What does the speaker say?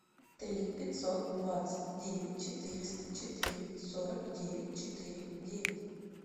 три пятьсот двадцать девять четыреста четыре сорок девять четыре девять